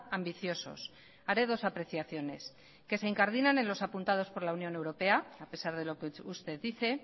ambiciosos haré dos apreciaciones que se incardinan en los apuntados por la unión europea a pesar de lo que usted dice